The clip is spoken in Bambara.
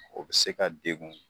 O be se ka degun